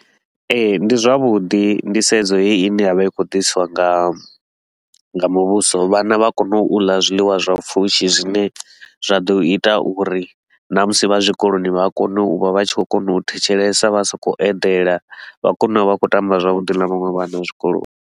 Ee, ndi zwavhuḓi nḓisedzo heyi i ne ya vha i khou ḓisiwa nga nga muvhuso, vhana vha kone u ḽa zwiḽiwa zwa pfushi zwine zwa ḓo ita uri na musi vha zwikoloni vha kone u vha vha tshi khou kona u thetshelesa, vha sa khou eḓela, vha kone u vha vha khou tamba zwavhuḓi na vhaṅwe vhana zwikoloni.